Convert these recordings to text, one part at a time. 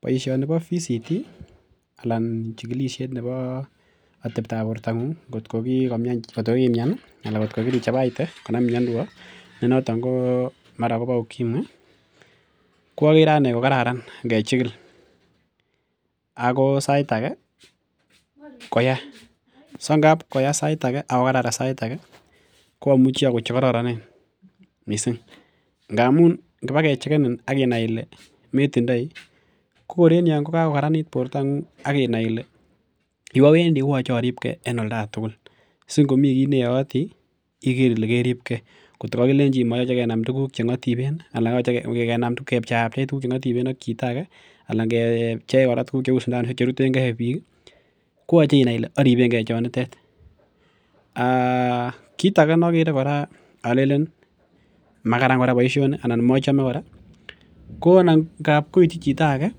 Boisionibo Voluntary Counselling and Testing anan chikikisiet nebo ateptab bortongung ih ngotko kiimian ih anan kotko kirichabaite konamin miondo noton bo mara kobo ukimwi ko okere anee kokararan ngechigil ako sait age koya, so ngab koya sait age ak kokaran sait age ko amuchi akon chekororonen missing ngamun ngibakechegenin ak inai ile metindoi ko kor en yon ko kakokaranit bortong'ung ak inai ile yuu awendii koyoche oribgee en olda aketugul si ngomii kiy neyooti iker ile keribgee kotko kokilenji moyoche kenam tuguk cheng'otiben ih anan moyoche kenam kepcheapchei tuguk cheng'otiben ak chito age anan ngepchei kora tuguk cheu sindanusiek cherutengee biik ih koyoche kora inai ile aribengee chonitet um kit age nokere kora olenen makaran boisioni anan mochome ko nan kochut chito age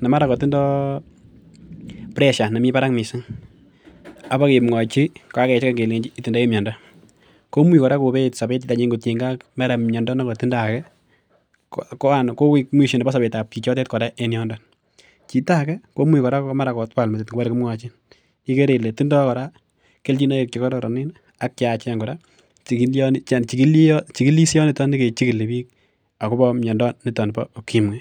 nemara kotindoo pressure nemii barak missing ak bakemwochi kokakecheken kelenji itindoi miondo komuch kora kobeet sobet nenyun kotiengei ak miondo nekotindoo ake koik mwisho nebo sobetab chichotet kora en yondo. Chito age komuch kora mara kotwal metit ngobore kimwochin ikere ile tindoo kora kelchinoik chekororonen ih ak cheyachen kora chigilisioniton kichigili biik akobo miondo nito bo ukimwi